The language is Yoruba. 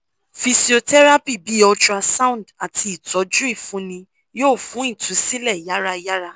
physiotherapy bi ultrasound ati itọ́jú ifunni yoo fun ìtúsílẹ̀ yàrà yàrà